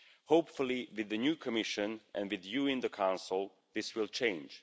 Hopefully, with the new Commission and with you in the Council, this will change.